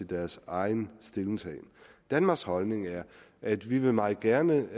deres egen stillingtagen danmarks holdning er at vi meget gerne